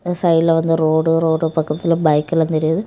இந்த சைடுல வந்து ரோடு ரோடு பக்கத்துல பைக்கெல்லா தெரியுது.